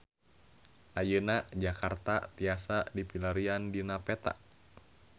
Ayeuna Jakarta tiasa dipilarian dina peta